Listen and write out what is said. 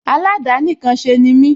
Aládàánìkanṣe ni mí